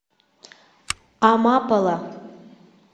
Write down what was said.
амапола